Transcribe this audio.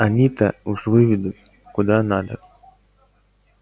они-то уж выведут куда надо